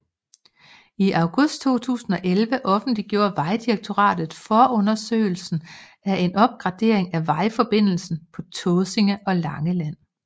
I august 2011 offentliggjorde Vejdirektoratet forundersøgelsen af en opgradering af vejforbindelserne på Tåsinge og Langeland